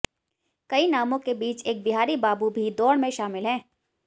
कई नामों के बीच एक बिहारी बाबू भी दौड़ में शामिल हैं